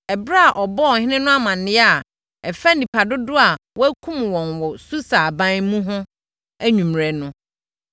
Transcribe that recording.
Ɛberɛ a wɔbɔɔ ɔhene no amaneɛ a ɛfa nnipa dodoɔ a wɔkumm wɔn wɔ Susa aban mu ho anwummerɛ no,